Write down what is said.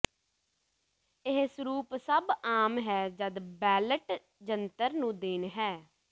ਇਹ ਸਰੂਪ ਸਭ ਆਮ ਹੈ ਜਦ ਬੈਲਟ ਜੰਤਰ ਨੂੰ ਦੇਣ ਹੈ